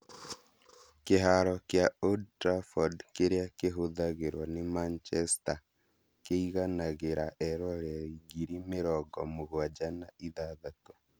Kĩharo kĩa Old Trafford kĩrĩa kïhũthagĩrwo nĩ Manchester kĩiganagĩra eroreri ngiri mĩrongo mũgwanja na ithathatũ